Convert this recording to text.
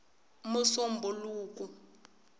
musumbhuluku